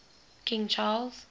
king charles